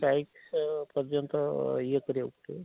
Streik ଯେ ପର୍ଯନ୍ତ ଇଏ କରିବ